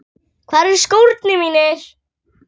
Hvar eru skórnir mínir?